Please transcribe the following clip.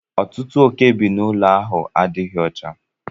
Ọtụtụ oke bi na ụlọ ahụ adịghị ọcha.